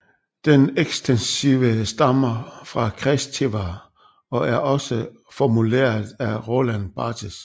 Den ekstensive stammer fra Kristeva og er også formuleret af Roland Barthes